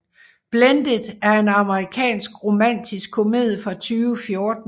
Blended er en amerikansk romantisk komedie fra 2014